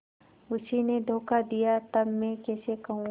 उसी ने धोखा दिया तब मैं कैसे कहूँ